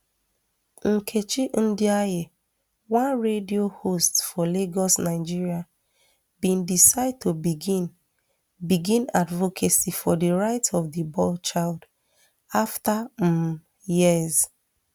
nkechi ndiaye one radio host for lagos nigeria bin decide to begin begin advocacy for di rights of di boy child afta um years